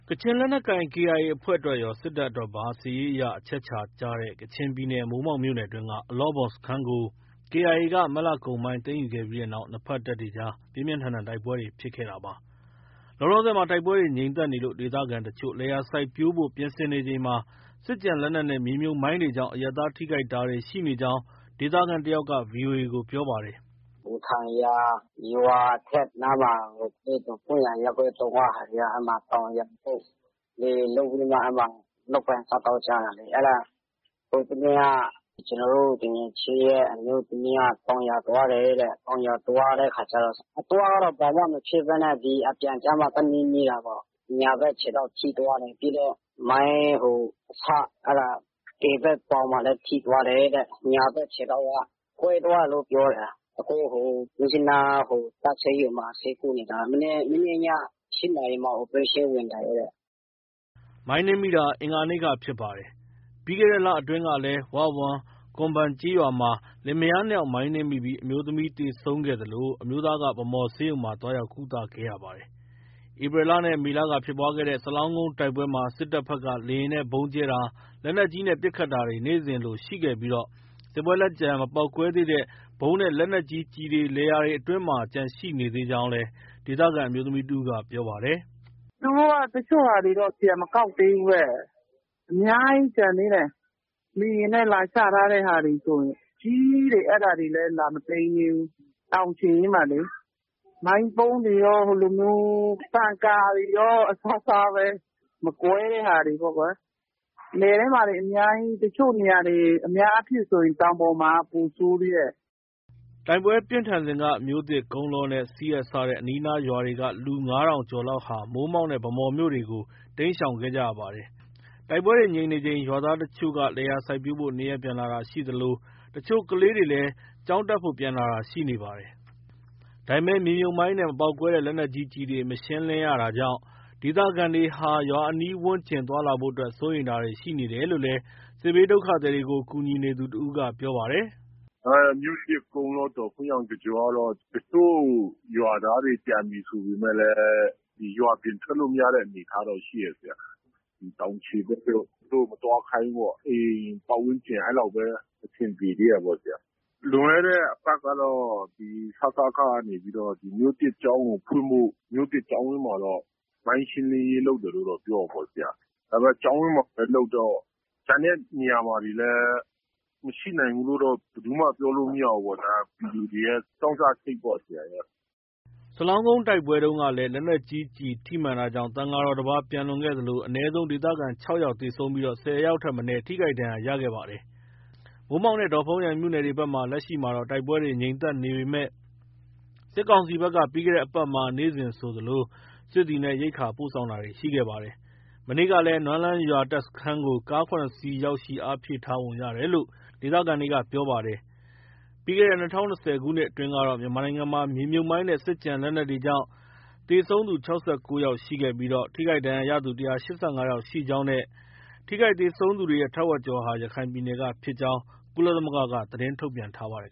ကချင်လက်နက်ကိုင် KIA အဖွဲ့အတွက်ရော စစ်တပ်အတွက်ပါ စစ်ရေးအရ အချက်အခြာကျတဲ့ ကချင်ပြည်နယ် မိုးမောက်မြို့နယ်အတွင်းက အလော့ဘွမ်စခန်းကို KIA က မတ်လကုန်ပိုင်း သိမ်းယူခဲ့ပြီးတဲ့နောက် နှစ်ဘက်တပ်တွေအကြား ပြင်းပြင်းထန်ထန်တိုက်ပွဲတွေ ဖြစ်ခဲ့တာပါ။ လောလောဆည် တိုက်ပွဲတွေ ငြိမ်သက်နေလို့ ဒေသခံတချို့ လယ်ယာစိုက်ပျိုးဖို့ ပြင်ဆင်ချိန်မှာ စစ်ကျန်လက်နက်နဲ့ မြေမြုပ်မိုင်းတွေကြောင့် အရပ်သား ထိခိုက်တာတွေ ရှိနေကြောင်း ဒေသခံတယောက်က VOA ကို ပြောပါတယ်။ “အူထန်ယန် ရွာအထွက်နားမှာ ဒေါ့ဖုန်းယန်ရပ်ကွက် ၃ က ဟာတွေက အဲဒီမှာ တောင်ယာလုပ်၊ လယ်လုပ်ပြီးမှ လုပ်ကိုင်စားသောက်ကြတာလေ။ အဲဒါ ဟိုတနေ့က ကျနော်တို့ သူငယ်ချင်းရဲ့ အမျိုးသမီးက တောင်ယာသွားတယ်တဲ့။ တောင်ယာသွားတဲ့အခါကျ အသွားကတော့ ဘာမှမဖြစ်ဘဲနဲ့ အပြန်ကျမှ သွားနင်းမိတာပေါ့။ ညာဘက်ခြေထောက်ထိသွားတယ်။ ပြီးတော့ မိုင်းအစ ဘယ်ဘက်ပေါင်မှာလည်း ထိသွားတယ်တဲ့။ ညာဘက်ခြေထောက်က ကွဲသွားတယ်တဲ့။ အခု မြစ်ကြီးနား တပ်ဆေးရုံမှာ ဆေးကုနေတာ မနေ့ညက ၈နာရီမှာ Operation ဝင်တယ်တဲ့။” မိုင်းနင်းမိတာ အင်္ဂါနေ့ကဖြစ်ပါတယ်။ ပြီးခဲ့တဲ့လအတွင်းကလည်း ၀၀မ်၊ ကွမ်ဘန်ကျေးရွာမှာ လင်မယားနှစ်ယောက် မိုင်းနင်းမိပြီး အမျိုးသမီးသေဆုံးခဲ့သလို အမျိုးသားက ဗန်းမော်ဆေးရုံမှာ သွားရောက်ကုသခဲ့ရပါတယ်။ ဧပြီနဲ့ မေလကဖြစ်ပွားတဲ့ စလောင်းကုန်းတိုက်ပွဲမှာ စစ်တပ်ဘက်က လေယာဉ်နဲ့ ဗုံးကြဲတာ၊ လက်နက်ကြီးနဲ့ ပစ်ခတ်တာတွေ နေ့စဉ်လိုရှိခဲ့ပြီး စစ်ပွဲလက်ကျန် မပေါက်ကွဲသေးတဲ့ ဗုံးနဲ့ လက်နက်ကြီးကျည်တွေ လယ်ယာတွေအတွင်းမှာ ကျန်ရှိနေသေးကြောင်း ဒေသခံအမျိုးသမီးတဦးက ပြောပါတယ်။ “သူတို့က တချို့ဟာတွေ ပြန်မကောက်သေးဘူး။ အများကြီး ကျန်သေးတယ်။ လေယာဉ်နဲ့ လာချထားတဲ့ဟာတွေဆိုရင်။ အကြီးကြီးတွေ အဲဒါတွေလည်း လာမသိမ်းသေးဘူး။ တောင်ခြေရင်းမှာလေ။ မိုင်းဗုံးတွေရော၊ ပန်ကာတွေရော အစားစားပဲ။ မကွဲတဲ့ ဟာတွေပေါ့ကွယ်။ လယ်ထဲမှာလည်း အများကြီး ၊ တချို့နေရာတွေဆို အများအားဖြင့်ဆို တောင်ပေါ်မှာက ပိုဆိုးသေးတယ်။” တိုက်ပွဲပြင်းထန်စဉ်က မြို့သစ်၊ ကုန်းလောနဲ့ စီဟတ် စတဲ့ အနီးအနားရွာတွေက လူ ၅,၀၀၀ ကျော်လောက်ဟာ မိုးမောက်နဲ့ ဗန်းမော်တို့ကို တိမ်းရှောင်ခဲ့ကြရပါတယ်။ တိုက်ပွဲတွေ ငြိမ်နေချိန် ရွာသားတချို့က လယ်ယာစိုက်ပျိုးဖို့ နေရပ်ပြန်လာတာရှိသလို တချို့ကလေးတွေလည်း ကျောင်းတက်ဖို့ပြန်လာတာ ရှိနေပါတယ်။ ဒါပေမဲ့ မြေမြုပ်မိုင်းနဲ့ မပေါက်ကွဲတဲ့ လက်နက်ကြီးကျည်တွေ မရှင်းလင်းရတာကြောင့် ဒေသခံတွေဟာ ရွာအနီးဝန်းကျင် သွားလာဖို့အတွက် စိုးရိမ်တာတွေ ရှိနေတယ်လို့လည်း စစ်ဘေးဒုက္ခသည်တွေကို ကူညီနေသူ တဦးက ပြောပါတယ်။ “မြို့သစ်၊ ကုန်းလော၊ ဒေါ့ဖုန်းယန်တစ်ကြောကတော့ တချို့ရွာသားတွေ ပြန်ပြီဆိုပေမဲ့လည်း ရွာပြင်ထွက်လို့ မရတဲ့ အနေအထားတော့ ရှိတယ်။ တောင်ခြေဘက်တို့ သူတို့ မသွားခိုင်းဘူးပေါ့။ အိမ်ပတ်ဝန်းကျင် အဲလောက်ပဲ အဆင်ပြေသေးတယ်ပေါ့။ လွန်ခဲ့တဲ့အပတ်ကတော့ စကခကနေပြီး မြို့သစ်ကျောင်းကိုဖွင့်ဖို့ မြို့သစ်ကျောင်းဝန်းမှာတော့ မိုင်းရှင်းလင်းရေး လုပ်တယ်လို့တော့ ပြောတာပေါ့။ ဒါပေမဲ့ ကျောင်းဝန်းမှာပဲ လုပ်တော့ ကျန်တဲ့နေရာမှာတွေလည်း မရှိနိုင်ဘူးလို့ ဘယ်သူမှ ပြောလို့ မရဘူးပေါ့ဗျာ။ ပြည်သူတွေရဲ့ ကြောင့်ကြစိတ်ပေါ့။” စလောင်းကုန်းတိုက်ပွဲတုန်းကလည်း လက်နက်ကြီးကျည်ထိမှန်တာကြောင့် သံဃာတော်တပါး ပျံလွန်ခဲ့သလို အနည်းဆုံး ဒေသခံ ၆ ယောက်သေဆုံးပြီး ၁၀ ဦးထက်မနည်း ထိခိုက်ဒဏ်ရာရခဲ့ပါတယ်။ မိုးမောက်နဲ့ ဒေါ့ဖုန်းယန်မြို့နယ်ဘက်တွေမှာ လက်ရှိ တိုက်ပွဲတွေ ငြိမ်သက်နေပေမဲ့ စစ်ကောင်စီဘက်က ပြီးခဲ့တဲ့အပတ်မှာ နေ့စဉ်ဆိုသလို စစ်သည်နဲ့ ရိက္ခာပို့ဆောင်တာတွေ ရှိခဲ့ပါတယ်။ မနေ့ကလည်း နွမ်းလန်းရွာ တပ်စခန်းကို ကား ၇ စီး ရောက်ရှိ အားဖြည့်ထားပုံရတယ်လို့ ဒေသခံတွေက ပြောပါတယ်။ ပြီးခဲ့တဲ့ ၂၀၂၀ ခုနှစ်အတွင်းကတော့ မြန်မာနိုင်ငံမှာ မြေမြုပ်မိုင်းနဲ့ စစ်ကျန်လက်နက်တွေကြောင့် ထိခိုက် သေဆုံးရသူ ၆၉ ယောက် ရှိခဲ့ပြီး ထိခိုက်ဒဏ်ရာရသူ ၁၈၅ ယောက် ရှိကြောင်းနဲ့ ထိခိုက်သေဆုံးသူတွေရဲ့ ထက်ဝက်ကျော်ဟာ ရခိုင်ပြည်နယ်ကဖြစ်ကြောင်း ကုလသမဂ္ဂက သတင်းထုတ်ပြန်ခဲ့ပါတယ်